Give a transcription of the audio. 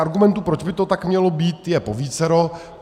Argumentů, proč by to tak mělo být, je povícero.